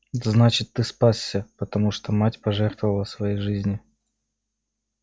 значит ты спасся потому что мать пожертвовала своей жизнью